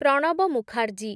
Pranab Mukherjee